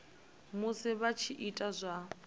musi vha tshi ita zwa